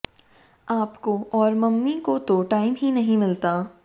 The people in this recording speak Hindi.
आपको और मम्मी को तो टाइम ही नहीं मिलता